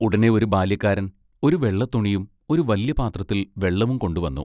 ഉടനെ ഒരു ബാല്യക്കാരൻ ഒരു വെള്ളത്തുണിയും ഒരു വല്യ പാത്രത്തിൽ വെള്ളവും കൊണ്ടുവന്നു.